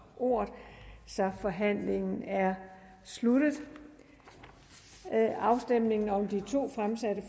ordet så forhandlingen er sluttet afstemningen om de to fremsatte